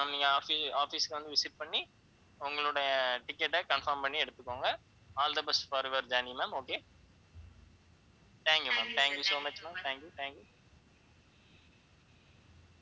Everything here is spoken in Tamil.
நீங்க offi~ office க்கு வந்து visit பண்ணி உங்களுடைய ticket அ confirm பண்ணி எடுத்துக்கோங்க all the best for your journey ma'am okay thank you ma'am thank you so much ma'amthank you, thank you